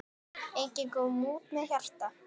Enginn kom út með hjarta.